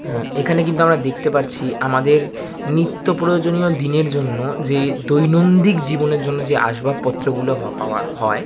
এইখানে কিন্তু আমরা দেখতে পাচ্ছি আমাদের নিত্য প্রয়োজনীয় দিনের জন্য যে দৈনন্দিন জীবনের জন্য যে আসবাবপত্র গুলো পাওয়া হয়--